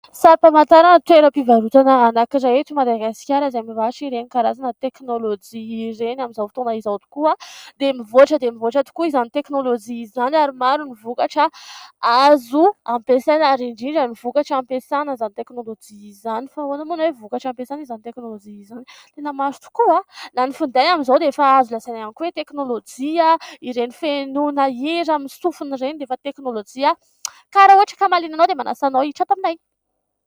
Sary famantarana toeram-pivarotana anankiray eto Madagasikara, izay mivarotra ireny karazana teknolojia ireny. Amin'izao fotoana izao tokoa dia mivoatra dia mivoatra tokoa izany teknolojia izany, ary maro ny vokatra azo ampiasaina ary indrindra ny vokatra ampiasana izany teknolojia izany. Fa ahoana moa no hoe vokatra ampiasana izany teknolojia izany ? tena maro tokoa na ny finday amin'izao dia efa azo lazaina ihany koa hoe teknolojia, ireny fihenoana hira amin'ny sofina ireny dia efa teknolojia. Ka raha ohatra ka mahaliana anao, dia manasa anao hiditra ato aminay.